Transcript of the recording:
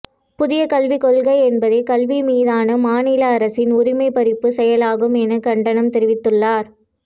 புதிய கல்விக் கொள்கை என்பதே கல்வி மீதான மாநில அரசின் உரிமை பறிப்பு செயலாகும் என கண்டனம் தெரிவித்துள்ளார்